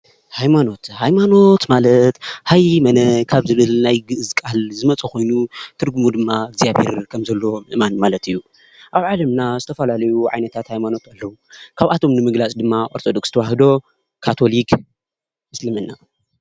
ሃይማኖት ሃይማኖት ማለት "ሃይመነ" ካብ ዝብል ናይ ግእዝ ቃል ዝመፀ ኾይኑ ትርጉሙ ድማ እግዚኣብሄር ከምዘሎ ምእማን ማለት እዩ፡፡ ኣብ ዓለምና ዝተፈላለዩ ዓይነታት ሃይማኖት ኣለው፡፡ ካብኣቶም ንምግላፅ ድማ ኦርቶዶክስ ተዋህዶ፣ ካቶሊክ፣ እስልምና።